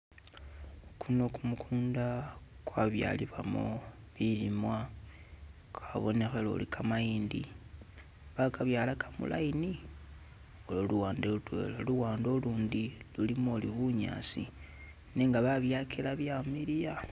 Kuno kumukunda kwabyalibwamo bilimwa, kabonekhele uli kamayindi bakabyalaka mu line ulwo luwande lutwela, luwande ulundi lulimo uli bunyasi nenga ba byakila bya miliya.